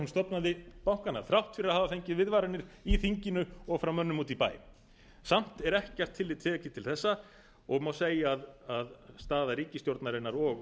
stofnaði bankana þrátt fyrir að hafa fengið viðvaranir í þinginu og frá mönnum úti í bæ samt er ekkert tillit tekið til þessa og má segja að staða ríkisstjórnarinnar og